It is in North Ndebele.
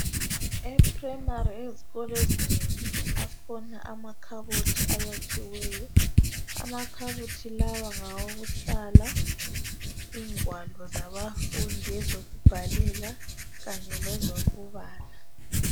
e primary ezikolo ezinengi akhona amakhabothi ayakhiweyo amakhabothi lawa ngawokuhlala ingwalo zabafundi ezokubhala kanye lezokubala